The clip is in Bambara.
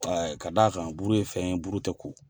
Ka d'a kan buru ye fɛn buru tɛ ko